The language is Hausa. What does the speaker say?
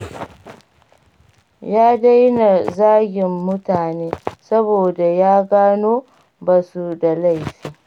Ya daina zagin mutane, saboda ya gano ba su da laifi.